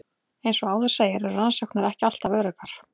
Eins og áður segir eru rannsóknir ekki alltaf öruggar.